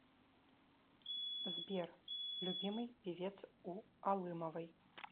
сбер любимый певец у алымовой